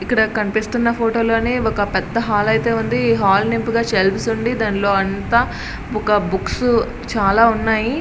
ఇక్కడ కనిపిస్తూ ఉన్న ఫోటో లో ఒక పెద్ద హాల్ అయితే ఉంది ఈ హాల్ నింపుగా సెల్ఫ్ లు ఉన్నాయి పైన అంతా బుక్స్ చాలా ఉన్నాయి.